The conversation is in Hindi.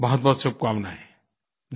बहुतबहुत शुभकामनायें